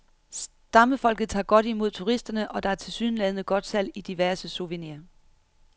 Stammefolket tager godt imod turisterne, og der er tilsyneladende godt salg i diverse souvenirs.